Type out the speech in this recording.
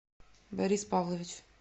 борис павлович